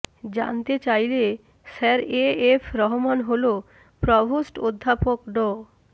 জানতে চাইলে sir A F Rahman হল প্রভোস্ট অধ্যাপক ড